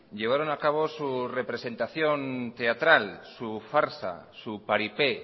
llevaron a cabo su representación teatral su farsa su paripé